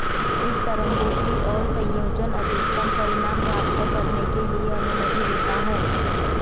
इन तरंगों की और संयोजन अधिकतम परिणाम प्राप्त करने के लिए अनुमति देता है